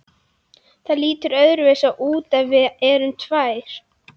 Það lítur öðruvísi út ef við erum tvær.